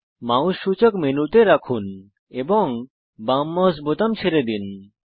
mouse সূচক মেনুতে রাখুন এবং বাম মাউস বোতাম ছেড়ে দিন